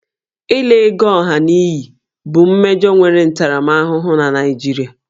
Ịla ego ọha n'iyi bụ mmejọ nwere ntaramahụhụ na Naịjirịa